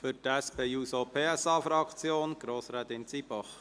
Für die SP-JUSO-PSA-Fraktion Grossrätin Zybach.